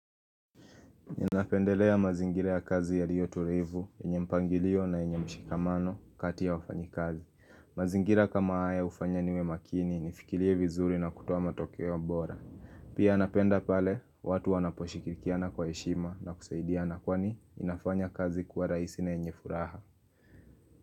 Ninapendelea mazingira ya kazi yaliyo tulivu, yenye mpangilio na yenye mshikamano kati ya wafanyikazi. Mazingira kama haya ufanya niwe makini nifikirie vizuri na kutoa matokeo bora. Pia napenda pale, watu wanaposhirikiana kwa heshima na kusaidiana kwani inafanya kazi kwa rahisi na yenye furaha.